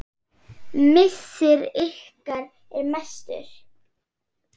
Missir ykkar er mestur.